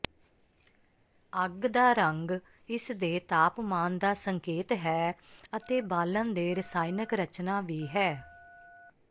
ਅੱਗ ਦਾ ਰੰਗ ਇਸਦੇ ਤਾਪਮਾਨ ਦਾ ਸੰਕੇਤ ਹੈ ਅਤੇ ਬਾਲਣ ਦੇ ਰਸਾਇਣਕ ਰਚਨਾ ਵੀ ਹੈ